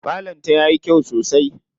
Falon ta yayi kyau sosai.